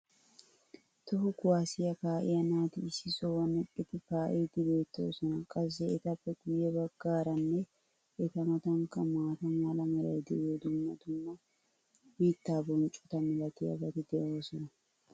toho kuwaassiya kaa'iya naati issi sohuwan eqqidi kaa'iidi beetoosona. qassi etappe guye bagaaranne eta matankka maata mala meray diyo dumma dumma mitaa bonccota malatiyaabati de'oosona.